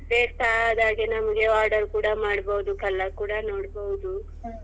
ಬೇಕಾದಾಗೆ ನಮ್ಗೆ order ಕೂಡ ಮಾಡ್ಬಹುದು colour ಕೂಡ ನೋಡ್ಬಹುದು.